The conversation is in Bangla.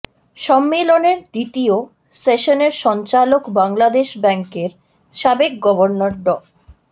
সম্মেলনের দ্বিতীয় সেশনের সঞ্চালক বাংলাদেশ ব্যাংকের সাবেক গভর্নর ড